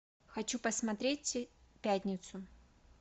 хочу посмотреть пятницу